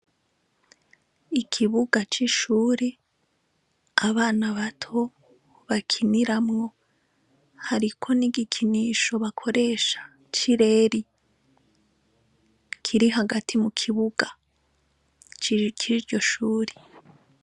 Ikibuga c'ishuri abana bato bakiniramwo hariko ni'igikinisho bakoresha c'i reri kiri hagati mu kibuga cikiryo shuri.